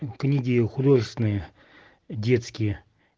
книги художественные детские